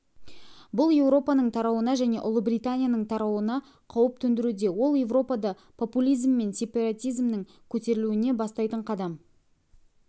бұл еуропаның тарауына және ұлыбританияның тарауына қауіп төндіруде ол еуропада популизм мен сепаратизмнің көтерілуіне бастайтын қадам